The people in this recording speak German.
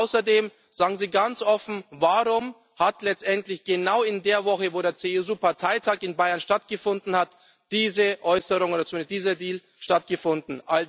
Und außerdem, sagen Sie ganz offen Warum hat letztendlich genau in der Woche, in der der CSU Parteitag in Bayern stattgefunden hat, diese Äußerung oder zumindest dieser Deal stattgefunden?